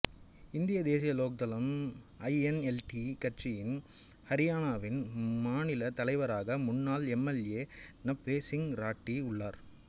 இந்திய தேசிய லோக் தளம் ஐஎன்எல்டி கட்சியின் ஹரியாணாவின் மாநில தலைவராக முன்னாள் எம்எல்ஏ நஃபே சிங் ராட்டி உள்ளார்